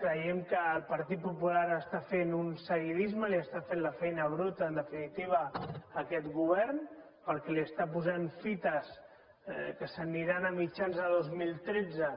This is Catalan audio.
creiem que el partit popular està fent un seguidis·me li està fent la feina bruta en definitiva a aquest govern perquè li està posant fites que se n’aniran a mitjans de dos mil tretze